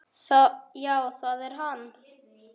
Já það er hann.